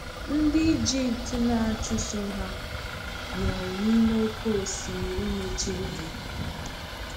Ndị Egypt na-achụso ha nwụrụ n’ime oké osimiri mechiri ha.